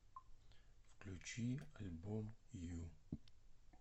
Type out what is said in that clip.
включи альбом ю